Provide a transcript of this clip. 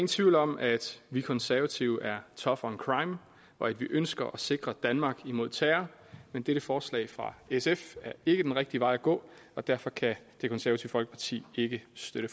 tvivl om at vi konservative er tough on crime og at vi ønsker at sikre danmark imod terror men dette forslag fra sf er ikke den rigtige vej at gå og derfor kan det konservative folkeparti ikke støtte